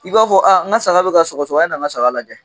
I b'a fɔ n ka saga bɛ ka sɔgɔsɔgɔ, a na n ka saga lajɛ.